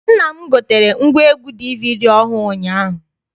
Nna m gotere ngwaegwu DVD ọhụụ ụnyaahụ.